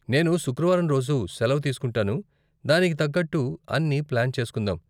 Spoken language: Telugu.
నేను శుక్రవారం రోజు సెలవు తీస్కుంటాను, దానికి తగ్గట్టు అన్ని ప్లాన్ చేసుకుందాం.